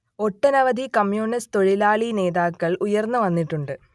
ഒട്ടനവധി കമ്യൂണിസ്റ്റ് തൊഴിലാളി നേതാക്കൾ ഉയർന്നു വന്നിട്ടുണ്ട്